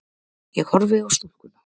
Ég horfi á stúlkuna.